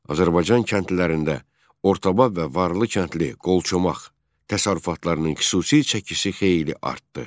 Azərbaycan kəndlilərində ortabab və varlı kəndli qolçomaq təsərrüfatlarının xüsusi çəkisi xeyli artdı.